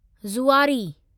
Zuari